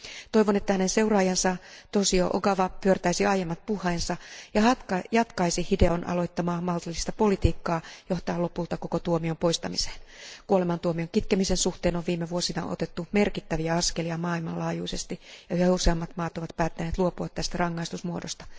Toivon, että hänen seuraajansa Toshio Ogawa pyörtäisi aiemmat puheensa ja jatkaisi Hideon aloittamaa maltillista politiikkaa, johtaen lopulta koko tuomion poistamiseen. Kuolemantuomion kitkemisen suhteen on viime vuosina otettu merkittäviä askelia maailmanlaajuisesti ja yhä useammat maat ovat päättäneet luopua tästä rangaistusmuodosta.